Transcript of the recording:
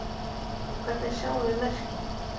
En hvernig sjáum við merkin?